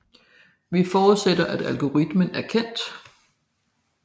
Vi forudsætter at algoritmen er kendt